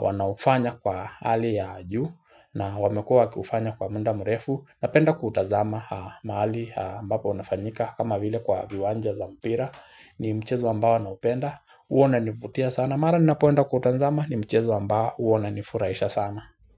wanaofanya kwa hali ya juu na wamekuwa wakiufanya kwa muda mrefu Napenda kuutazama mahali ambapo unafanyika kama vile kwa viwanja za mpira ni mchezo ambao naupenda huwa unanifutia sana Mara ninapoenda kutazama ni mchezo ambao huwa unanifurahisha sana.